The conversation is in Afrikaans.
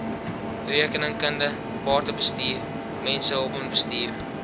rekeningkunde batebestuur mensehulpbronbestuur